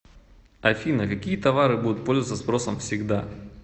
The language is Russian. афина какие товары будут пользоваться спросом всегда